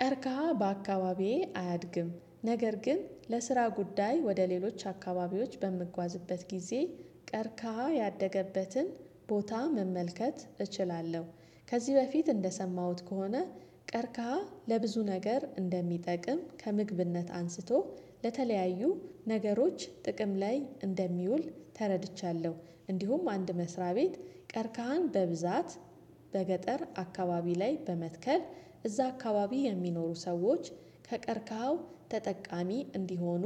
ቀርቀካ በአካባቢዬ አያድግም ነገር ግን ለስራ ጉዳይ ወደ ሌሎች አካባቢዎች በምጓዝበት ጊዜ ቀርቀሃ ያደገበትን ቦታ መመልከት እችላለሁ። ከዚህ በፊት እንደሰማሁት ከሆነ ቀርካሃ ለብዙ ነገር እንደሚጠቅም ከምግብነት አንስቶ ለተለያዩ ነገሮች ጥቅም ላይ እንደሚውል ተረድቻለሁ። እንዲሁም አንድ መስሪያ ቤት ቀርካሃን በብዛት በገጠር አካባቢ ላይ በመትከል እዛ አካባቢ የሚኖሩ ሰዎች ከቀርካኸው ተጠቃሚ እንዲሆኑ